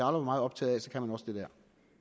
var meget optaget af man også det der